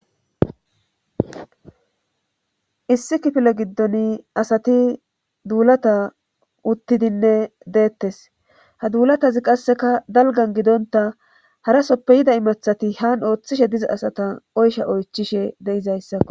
issi kifile giddoni asati duulata uttidinne deetes ha duulatazi qasseka dalggan gidontta harasoppe yiida imattati han ooththoshe diza asata oysha oychchishe de7izayssako.